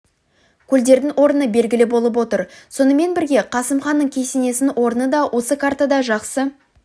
көлдердің орны белгілі болып отыр сонымен бірге қасым ханның кесенесінің орны да осы картада жақсы